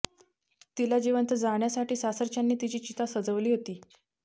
तिला जिवंत जाळण्यासाठी सासरच्यांनी तिची चिता सजवली होती